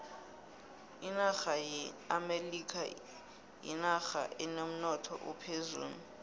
inaxha yeamelikha yinoxha enemnotho ophezulu